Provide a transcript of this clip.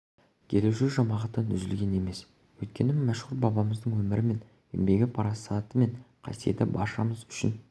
келуші жамағаттан үзілген емес өйткені мәшһүр бабамыздың өмірі мен еңбегі парасаты мен қасиеті баршамыз үшін